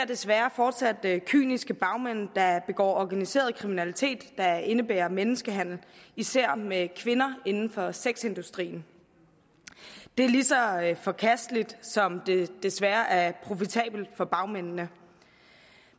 desværre fortsat kyniske bagmænd der begår organiseret kriminalitet der indebærer menneskehandel især med kvinder inden for sexindustrien det er lige så forkasteligt som det desværre er profitabelt for bagmændene